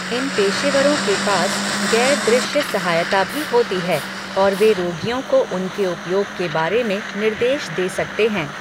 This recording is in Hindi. इन पेशेवरों के पास गैर दृश्य सहायता भी होती है, और वे रोगियों को उनके उपयोग के बारे में निर्देश दे सकते हैं।